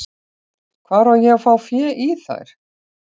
Hvar á að fá fé í þær?